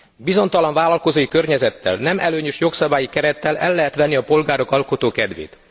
Bizonytalan vállalkozói környezettel, nem előnyös jogszabályi kerettel el lehet venni a polgárok alkotó kedvét.